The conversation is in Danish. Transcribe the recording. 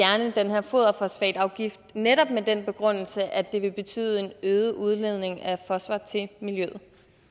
her foderfosfatafgift og netop med den begrundelse at det vil betyde en øget udledning af fosfor til miljøet